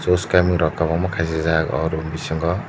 soskaming rok kobangma kasijak o room bisingo.